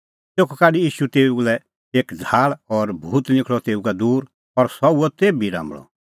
तेखअ काढी ईशू तेऊ लै एक झ़ाहल़ और भूत निखल़अ तेऊ का दूर और सह हुअ तेभी राम्बल़अ